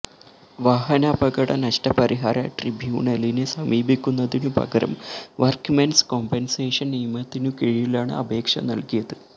വാഹനാപകട നഷ്ടപരിഹാര ട്രിബ്യൂണലിനെ സമീപിക്കുന്നതിനുപകരം വര്ക്ക്മെന്സ് കോമ്പന്സേഷന് നിയമത്തിനുകീഴിലാണ് അപേക്ഷ നല്കിയത്